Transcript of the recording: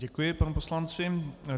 Děkuji panu poslanci.